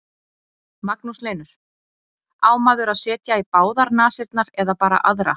Magnús Hlynur: Á maður að setja í báðar nasirnar eða bara aðra?